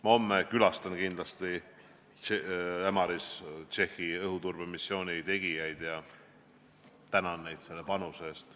Ma homme külastan kindlasti Ämaris Tšehhi õhuturbemissioonil osalejaid ja tänan neid panuse eest.